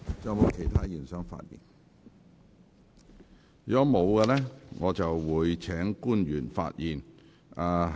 如果沒有議員想發言，我會請官員發言。